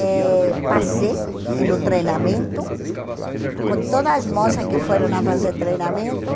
Eh passei no treinamento com todas as moças que foram a fazer treinamento.